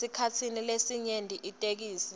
esikhatsini lesinyenti itheksthi